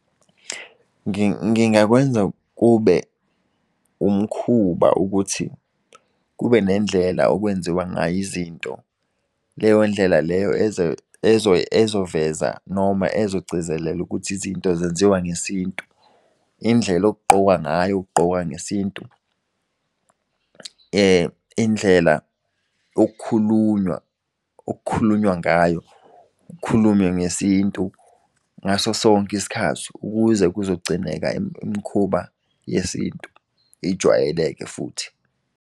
Ngingakwenza kube umkhuba ukuthi kube nendlela okwenziwa ngayo izinto leyo ndlela leyo ezoveza noma ezogcizelela ukuthi izinto zenziwa ngesintu. Indlela okugqokwa ngayo kugqokwa ngesintu indlela ok'khulunywa ngayo ukhulume ngesintu ngaso sonke isikhathi. Ukuze kuzogcineka imkhuba yesintu ijwayeleke futhi.